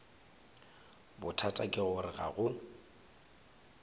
bothata ke gore ga go